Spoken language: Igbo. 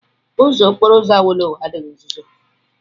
Ụzọ okporo ụzọ Awolowo adịghị uzuzu.